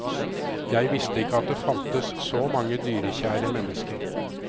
Jeg visste ikke at det fantes så mange dyrekjære mennesker.